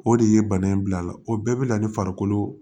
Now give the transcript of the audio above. O de ye bana in bila a la o bɛɛ bɛ na ni farikolo